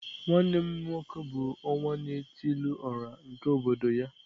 Nwanne m nwoke bu onwa-na-etili-ora nke obodo ya.